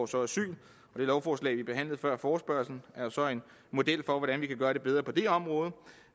så asyl det lovforslag vi behandlede før forespørgslen er så en model for hvordan vi kan gøre det bedre på det område